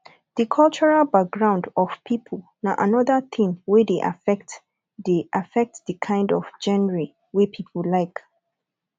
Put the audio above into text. di cultural background of people na anoda thing wey dey affect dey affect di kind of genre wey pipo like